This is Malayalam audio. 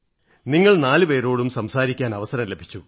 നിങ്ങൾ നാലുപേരോടും സംസാരിക്കാൻ അവസരം ലഭിച്ചു